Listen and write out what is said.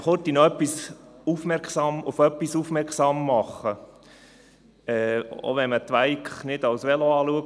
Ich möchte Sie noch kurz auf etwas aufmerksam machen, auch wenn man das «Twike» nicht als Velo betrachtet.